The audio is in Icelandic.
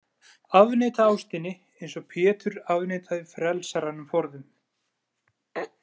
Afneita ástinni, eins og Pétur afneitaði frelsaranum forðum.